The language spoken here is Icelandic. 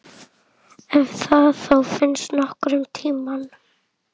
Ef það þá finnst nokkurn tímann.